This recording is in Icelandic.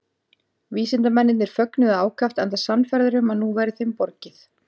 Vísindamennirnir fögnuðu ákaft enda sannfærðir um að nú væri þeim borgið.